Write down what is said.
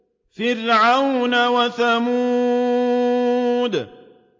فِرْعَوْنَ وَثَمُودَ